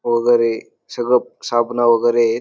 वगैरे सगळं साबण वगैरे एत.